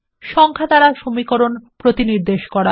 সংখ্যা দ্বারা সমীকরণ প্রতিনিদেশ করা